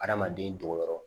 Adamaden dogoyɔrɔ